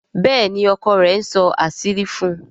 Béèni ọkọ rẹ̀ nsó àṣírí fún.